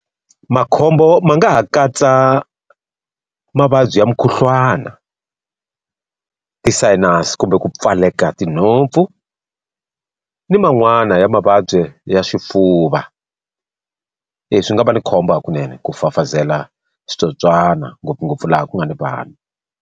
Makhombo ma nga ha katsa mavabyi ya mukhuhlwana, ti-sinus, kumbe ku pfaleka tinhompfu, ni man'wani ya mavabyi ya swifuva. swi nga va ni khombo hakunene ku fafazela switsotswana ngopfungopfu laha ku nga ni vanhu.